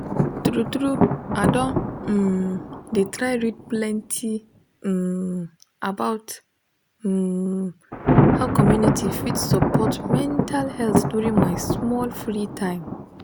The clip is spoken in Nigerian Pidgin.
true true i don um dey try read plenty um about um how community fit support mental health during my small free time